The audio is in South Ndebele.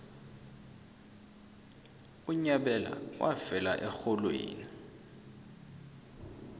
unyabela wafela erholweni